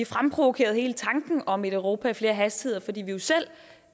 fremprovokeret hele tanken om et europa i flere hastigheder fordi vi jo selv